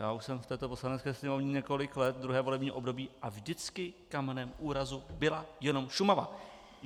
Já už jsem v této Poslanecké sněmovně několik let, druhé volební období, a vždycky kamenem úrazu byla jenom Šumava.